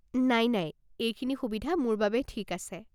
নাই নাই। এইখিনি সুবিধা মোৰ বাবে ঠিকে আছে।